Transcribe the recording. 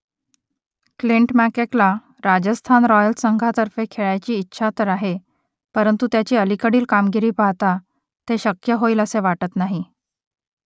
Clint मॅककेला Rajasthan royals संघातर्फे खेळायची इच्छा तर आहे परंतु त्याची अलीकडील कामगिरी पाहता ते शक्य होईल असे वाटत नाही